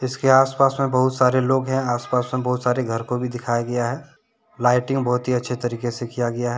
इसके आसपास में बहुत सारे लोग हैं। आसपास में बहुत सारे घर को भी दिखाया गया है। लाइटिंग बहुत ही अच्छे तरीके से किया गया है।